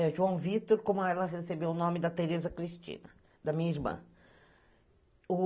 É João Vítor, como ela recebeu o nome da Tereza Cristina, da minha irmã.